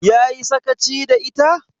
Ya yi sakaci da ita?